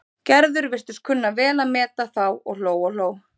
Gerður virtist kunna vel að meta þá og hló og hló.